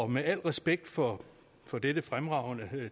med al respekt for for dette fremragende